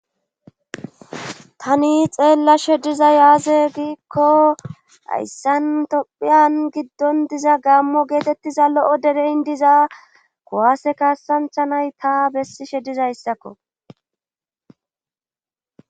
Tani xeellashe dizay aaze giikko hayssan tophphiyan giddon diza gammo geetettiza lo'o dereyn diza kuwaase kassanchcha naytta bessiishshe dizayssakko